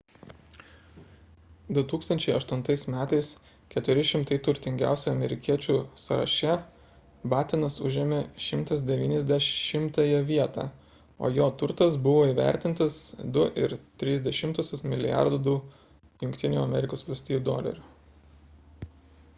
2008 m 400 turtingiausių amerikiečių sąraše battenas užėmė 190-ąją vietą o jo turtas buvo įvertintas 2,3 mlrd usd